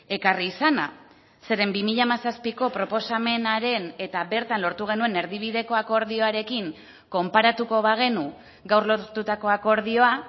ekarri izana zeren bi mila hamazazpiko proposamenaren eta bertan lortu genuen erdibideko akordioarekin konparatuko bagenu gaur lortutako akordioa